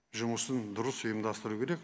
жұмысын дұрыс ұйымдастыру керек